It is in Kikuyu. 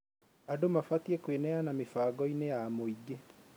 Andũ mabatiĩ kwĩneana mĩbangoinĩ ya mũingĩ